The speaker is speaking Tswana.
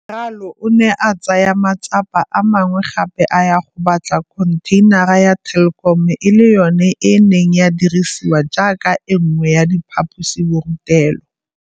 Ralo o ne a tsaya matsapa a mangwe gape a ya go batla khontheinara ya Telkom e le yona e neng ya dirisiwa jaaka e nngwe ya diphaposiborutelo.